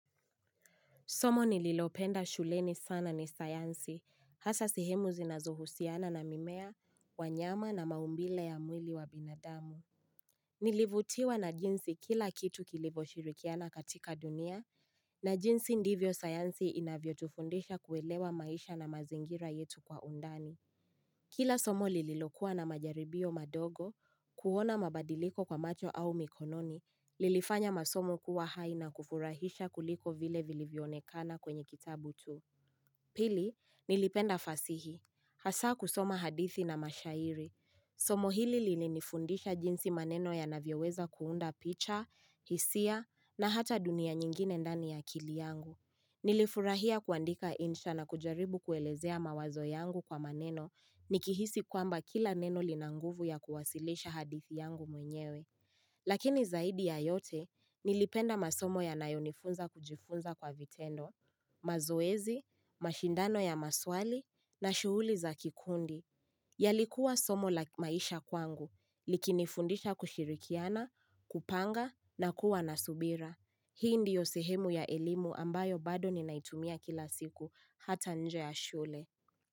Somo nililopenda shuleni sana ni sayansi, hasa sehemu zinazohusiana na mimea, wanyama na maumbile ya mwili wa binadamu. Nilivutiwa na jinsi kila kitu kilivyoshirikiana katika dunia, na jinsi ndivyo sayansi inavyotufundisha kuelewa maisha na mazingira yetu kwa undani. Kila somo lililokuwa na majaribio madogo, kuona mabadiliko kwa macho au mikononi, lilifanya masomo kuwa hai na kufurahisha kuliko vile vilivyoonekana kwenye kitabu tu. Pili, nilipenda fasihi. Hasaa kusoma hadithi na mashairi. Somo hili lilinifundisha jinsi maneno yanavyoweza kuunda picha, hisia na hata dunia nyingine ndani ya akili yangu. Nilifurahia kuandika insha na kujaribu kuelezea mawazo yangu kwa maneno Nikihisi kwamba kila neno lina nguvu ya kuwasilisha hadithi yangu mwenyewe Lakini zaidi ya yote, nilipenda masomo yanayonifunza kujifunza kwa vitendo mazoezi, mashindano ya maswali, na shughuli za kikundi yalikuwa somo la maisha kwangu, likinifundisha kushirikiana, kupanga, na kuwa na subira Hii ndiyo sehemu ya elimu ambayo bado ninaitumia kila siku hata nje ya shule.